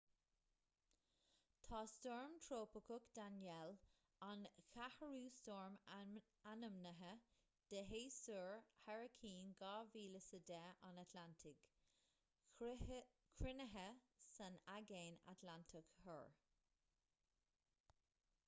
tá stoirm trópaiceach danielle an ceathrú stoirm ainmnithe de shéasúr hairicín 2010 an atlantaigh cruinnithe san aigéan atlantach thoir